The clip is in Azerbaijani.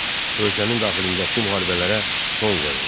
Ölkənin daxilindəki müharibələrə son qoyuldu.